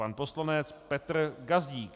Pan poslanec Petr Gazdík.